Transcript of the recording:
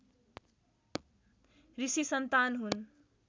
ऋषि सन्तान हुन्